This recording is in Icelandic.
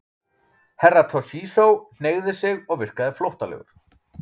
Herra Toshizo hneigði sig og virkaði flóttalegur.